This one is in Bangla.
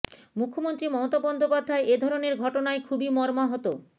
মুখ্যমন্ত্রী মমতা বন্দ্যোপাধ্যায় এ ধরণের ঘটনায় খুবই মর্মাহত